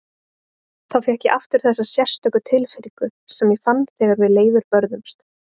Þá fékk ég aftur þessa sérstöku tilfinningu sem ég fann þegar við Leifur börðumst.